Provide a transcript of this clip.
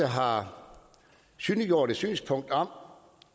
har synliggjort et synspunkt om